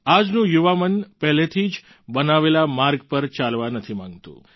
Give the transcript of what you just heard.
આજનું યુવા મન પહેલેથી બનાવેલા માર્ગ પર ચાલવા નથી માંગતું